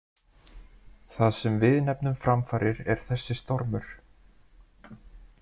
Það sem við nefnum framfarir er þessi stormur.